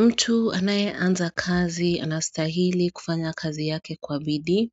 Mtu anayeanza kazi anastahili kufanya kazi yake kwabidii